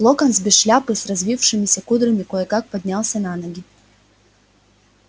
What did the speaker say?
локонс без шляпы с развившимися кудрями кое как поднялся на ноги